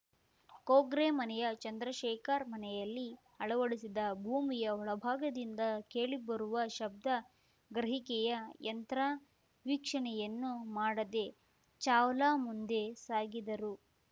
ಕೊಗ್ರೆಮನೆಯ ಚಂದ್ರಶೇಖರ್‌ ಮನೆಯಲ್ಲಿ ಅಳವಡಿಸಿದ್ದ ಭೂಮಿಯ ಒಳಭಾಗದಿಂದ ಕೇಳಿ ಬರುವ ಶಬ್ದ ಗ್ರಹಿಕೆಯ ಯಂತ್ರ ವೀಕ್ಷಣೆಯನ್ನೂ ಮಾಡದೆ ಚಾವ್ಲಾ ಮುಂದೆ ಸಾಗಿದರು